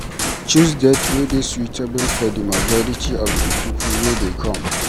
Choose date wey dey suitable for di majority of di pipo wey dey come